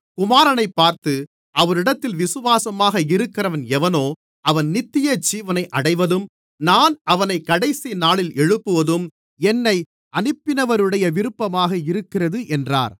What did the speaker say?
குமாரனைப் பார்த்து அவரிடத்தில் விசுவாசமாக இருக்கிறவன் எவனோ அவன் நித்தியஜீவனை அடைவதும் நான் அவனைக் கடைசிநாளில் எழுப்புவதும் என்னை அனுப்பினவருடைய விருப்பமாக இருக்கிறது என்றார்